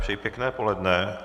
Přeji pěkné poledne.